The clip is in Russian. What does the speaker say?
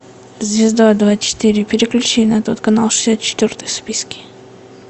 звезда двадцать четыре переключи на тот канал шестьдесят четвертый в списке